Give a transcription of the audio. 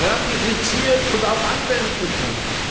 ratifiziert und auch anwenden kann.